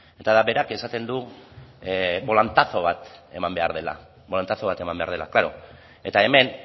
berak esaten du bolantazo bat eman behar dela klaro eta hemen